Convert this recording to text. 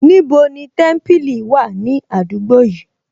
Níbo ni Témípìlì wà ní àdúgbò yìí